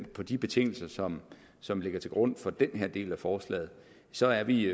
på de betingelser som ligger til grund for den her del af forslaget så er vi